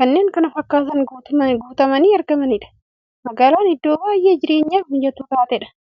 kanneen kana fakkatan guutamanii argamaniidha. Magaalan iddoo baay'ee jireenyaf mijattuu taateedha.